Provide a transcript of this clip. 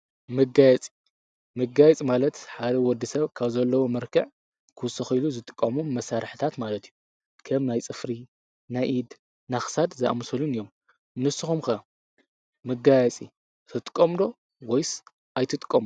ምጋያፂ ምጋይጽ ማለት ሓደ ወዲ ሰብ ካብ ዘለዉ መርከዕ ክስኾኢሉ ዝትቃሙም መሣርሕታት ማለት እዩ ከም ናይ ጽፍሪ ናይኢድ ናኽሳድ ዝኣምሰሉን እዮም ምስኹምከ ምጋየፂ ትጥቆምዶ ወይስ ኣይትጥቆም።